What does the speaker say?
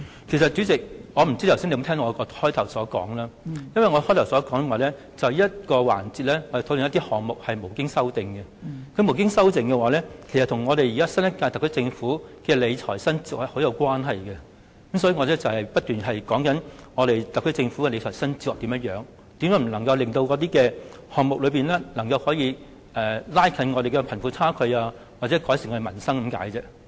代理主席，不知你有否聽到我開始時的發言，我指出因這個環節是討論沒有修正案的總目，而沒有修正案的總目與新一屆政府的理財新哲學息息相關，所以我一直在說明特區政府的理財新哲學，如何未能令有關總目達到拉近貧富差距、改善民生的效果。